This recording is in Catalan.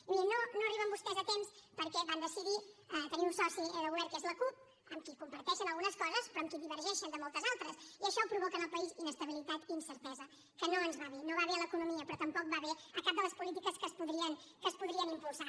i miri no arriben vostès a temps perquè van decidir tenir un soci de govern que és la cup amb qui comparteixen algunes coses però amb qui divergeixen de moltes altres i això provoca en el país inestabilitat i incertesa que no ens va bé no va bé a l’economia però tampoc va bé a cap de les polítiques que es podrien impulsar